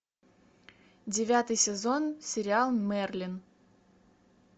девятый сезон сериал мерлин